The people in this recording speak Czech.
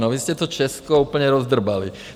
No, vy jste to Česko úplně rozdrbali.